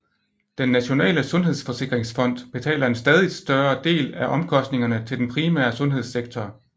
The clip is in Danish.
Den nationale sundhedsforsikringsfond betaler en stadigt større del af omkostningerne til den primære sundhedssektor